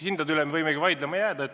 Hindade üle me võimegi vaidlema jääda.